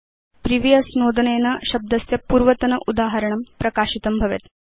previous नोदनेन शब्दस्य पूर्वतन उदाहरणं प्रकाशितं भवेत्